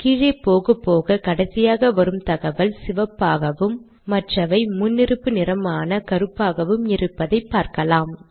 கீழே போகப்போக கடைசியாக வரும் தகவல் சிவப்பாகவும் மற்றவை முன்னிருப்பு நிறமான கருப்பாகவும் இருப்பதை பார்க்கலாம்